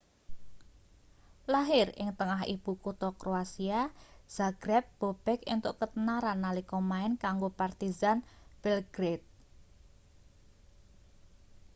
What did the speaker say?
lahir ing tengah ibu kutha kroasia zagreb bobek entuk ketenaran nalika main kanggo partizan belgrade